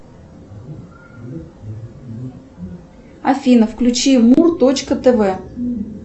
афина включи му точка тв